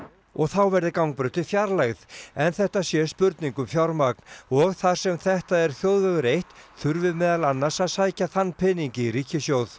og þá verði gangbrautin fjarlægð en þetta sé spurning um fjármagn og þar sem þetta er þjóðvegur eitt þurfi meðal annars að sækja þann pening í ríkissjóð